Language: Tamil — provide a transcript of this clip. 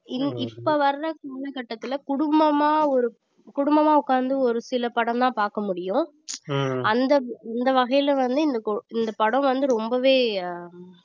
இல்~ இப்ப வர காலகட்டத்துல குடும்பமா ஒரு குடும்பமா உக்காந்து ஒரு சில படம்தான் பார்க்க முடியும் அந்த இந்த வகையில வந்து இந்த கு~ இந்த படம் வந்து ரொம்பவே ஆஹ்